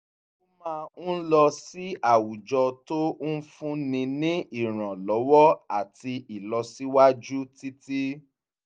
ó máa ń lọ sí àwùjọ tó ń fún ni ní ìrànlọ́wọ́ àtì ilọsiwaju títí